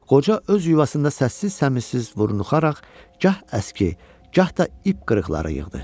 Qoca öz yuvasında səssiz-səmirsiz vurnuxaraq, gah əski, gah da ip qırıqları yığdı.